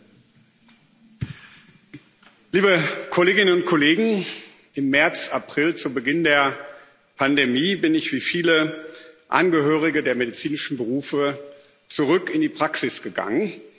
Herr Präsident, liebe Kolleginnen und Kollegen! Im März April, zu Beginn der Pandemie, bin ich wie viele Angehörige der medizinischen Berufe zurück in die Praxis gegangen.